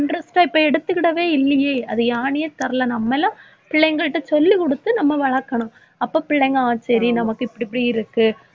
interest ஆ இப்ப எடுத்துக்கிடவே இல்லையே. அது ஏன்னேயே தெரில. நம்ம எல்லாம் பிள்ளைங்கள்ட சொல்லிக்குடுத்து நம்ம வளர்க்கணும். அப்ப பிள்ளைங்க ஆஹ் சரி நமக்கு இப்டிப்டியிருக்கு.